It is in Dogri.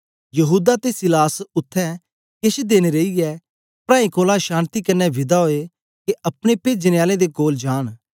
यहूदा ते सीलास उत्थें केछ देन रेईयै प्राऐं कोलां शान्ति कन्ने विदा ओए के अपने पेजने आलें दे कोल जांन